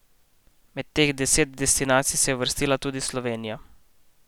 Med teh deset destinacij se je uvrstila tudi Slovenija.